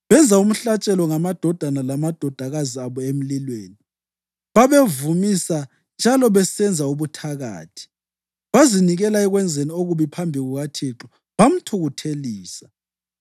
Benza umhlatshelo ngamadodana lamadodakazi abo emlilweni. Babevumisa njalo besenza ubuthakathi, bazinikela ekwenzeni okubi phambi kukaThixo bamthukuthelisa.